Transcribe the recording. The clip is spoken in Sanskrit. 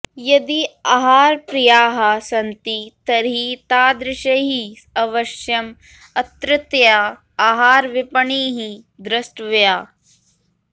यदि आहारप्रियाः सन्ति तर्हि तादृशैः अवश्यं अत्रत्या आहारविपणिः द्रष्टव्या